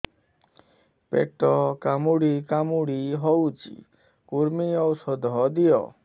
ପେଟ କାମୁଡି କାମୁଡି ହଉଚି କୂର୍ମୀ ଔଷଧ ଦିଅ